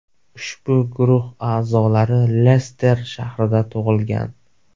Ushbu guruh a’zolari Lester shahrida tug‘ilgan.